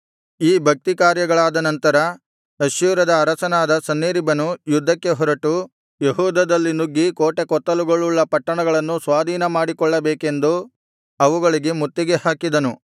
ಈ ಭಕ್ತಿ ಕಾರ್ಯಗಳಾದ ನಂತರ ಅಶ್ಶೂರದ ಅರಸನಾದ ಸನ್ಹೇರೀಬನು ಯುದ್ಧಕ್ಕೆ ಹೊರಟು ಯೆಹೂದದಲ್ಲಿ ನುಗ್ಗಿ ಕೋಟೆಕೊತ್ತಲುಗಳುಳ್ಳ ಪಟ್ಟಣಗಳನ್ನು ಸ್ವಾಧೀನಮಾಡಿ ಕೊಳ್ಳಬೇಕೆಂದು ಅವುಗಳಿಗೆ ಮುತ್ತಿಗೆ ಹಾಕಿದನು